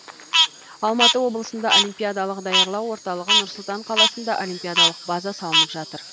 алматы облысында олимпиадалық даярлау орталығы нұр сұлтан қаласында олимпиадалық база салынып жатыр